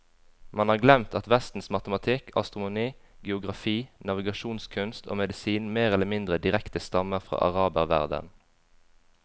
Man har glemt at vestens matematikk, astronomi, geografi, navigasjonskunst og medisin mer eller mindre direkte stammer fra araberverdenen.